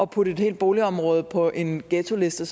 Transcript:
putte et helt boligområde på en ghettoliste